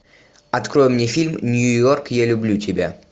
открой мне фильм нью йорк я люблю тебя